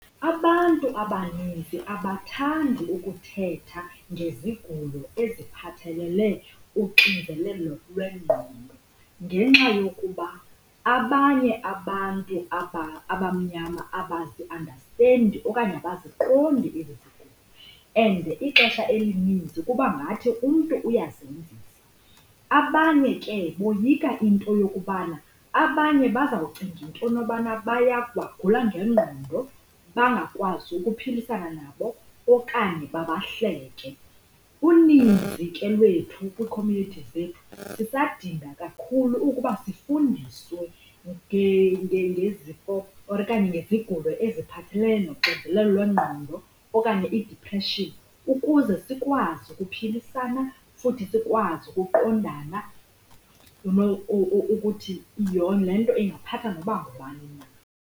Abantu abaninzi abathandi ukuthetha ngezigulo eziphathelele uxinzelelo lwengqondo ngenxa yokuba abanye abantu abamnyama abaziandastendi okanye abaziqondi ezi zigulo, and ixesha elininzi kuba ngathi umntu uyazenzisa. Abanye ke boyika into yokubana abanye bazawucinga into yobana bagula ngengqondo, bangakwazi ukuphilisana nabo okanye babahleke. Uninzi ke lwethu kwiikhomyunithi zethu sisadinga kakhulu ukuba sifundiswe ngezifo okanye ngezigulo eziphathelele noxinzelelo lwengqondo okanye idipreshini ukuze sikwazi ukuphilisana futhi sikwazi ukuqondana ukuthi le nto ingaphatha noba ngubani na.